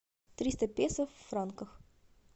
триста песо в франках